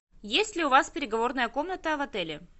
есть ли у вас переговорная комната в отеле